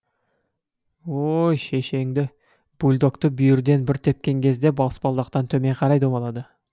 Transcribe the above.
ой шешеңді бульдогты бүйірден бір тепкен кезде баспалдақтан төмен қарай домалады